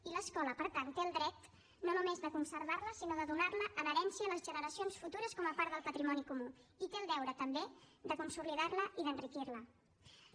i l’escola per tant té el dret no només de conservar la sinó de donar la en herència a les generacions futures com a part del patrimoni comú i té el deure també de consolidar la i d’enriquir la